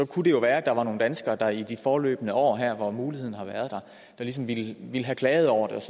kunne det jo være at der var nogle danskere der i de forløbne år her hvor muligheden har været der ligesom ville have klaget over det